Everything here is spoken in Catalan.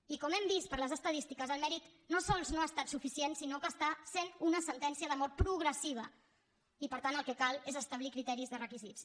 i com hem vist per les estadístiques el mèrit no sols no ha estat suficient sinó que està sent una sentència de mort progressiva i per tant el que cal és establir criteris de requisits